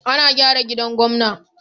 Ana gyara gidan gwamna.